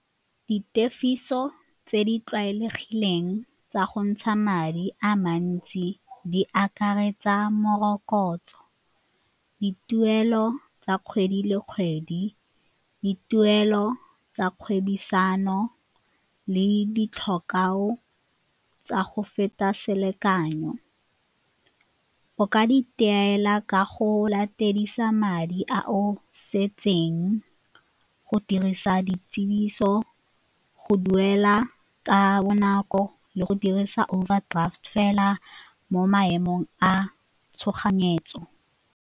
Ditefiso tse di tlwaelegileng tsa go ntsha madi a mantsi di akaretsa morokotso, dituelo tsa kgwedi le kgwedi, dituelo tsa kgwebisano le tsa go feta selekanyo. O ka di ka go latedisa madi a o setseng, go tsa di tiriso, go duela ka bonako le go dirisa overdraft fela mo maemong a tshoganyetso.